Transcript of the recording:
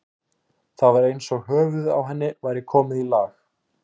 Það var eins og höfuðið á henni væri komið í lag.